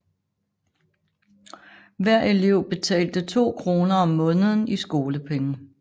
Hver elev betalte to kroner om måneden i skolepenge